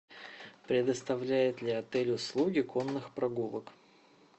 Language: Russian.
предоставляет ли отель услуги конных прогулок